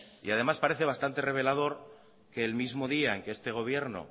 y además parece bastante revelador que el mismo día que este gobierno